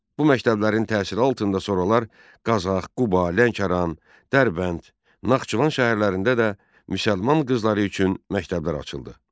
Bu məktəblərin təsiri altında sonralar Qazax, Quba, Lənkəran, Dərbənd, Naxçıvan şəhərlərində də müsəlman qızları üçün məktəblər açıldı.